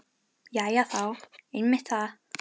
Jæja já, einmitt það.